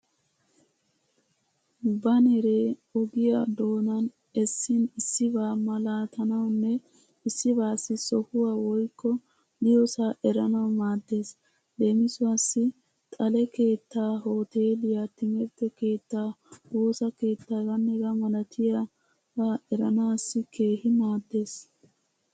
Baaneree ogiyaa doonan essin issibaa malaatanawunne issibaassi sohuwaa woykko diyoosaa eranawu maaddeees. Leemisuwaassi xale keettaa, hooteeliyaa, timirtte keettaa, woosa keettaa h.h.m eranaassi keehi maaddeees.